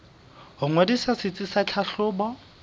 ho ngodisa setsi sa tlhahlobo